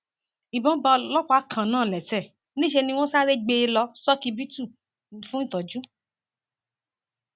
ìbọn bá ọlọpàá kan náà lẹsẹ níṣẹ ni wọn sáré gbé e lọ ṣókíbítù fún ìtọjú